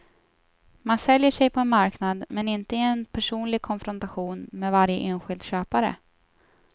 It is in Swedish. Man säljer sig på en marknad, men inte i personlig konfrontation med varje enskild köpare.